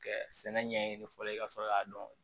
Kɛ sɛnɛ ɲɛ ye fɔlɔ ye ka sɔrɔ k'a dɔn